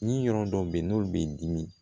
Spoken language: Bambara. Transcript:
Ni yɔrɔ dɔ bɛ yen n'olu b'i dimi